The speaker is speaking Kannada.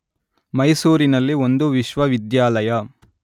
ಮೈಸೂರಿನಲ್ಲಿ ಒಂದು ವಿಶ್ವವಿದ್ಯಾಲಯ